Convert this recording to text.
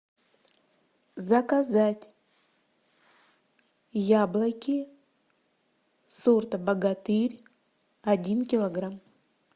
заказать яблоки сорта богатырь один килограмм